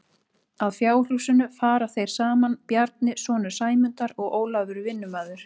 Að fjárhúsinu fara þeir saman Bjarni sonur Sæmundar og Ólafur vinnumaður.